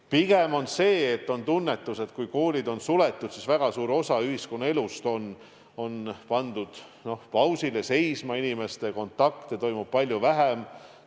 Pigem on tunnetus, et kui koolid on suletud, siis väga suur osa ühiskonnaelust on pandud pausile, seisma, inimeste kontakte toimub palju vähem.